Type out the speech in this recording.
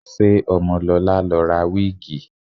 Ṣé Ọmọlọlá lọ ra wíìgì?